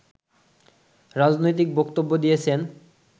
রাজনৈতিক বক্তব্য দিয়েছেন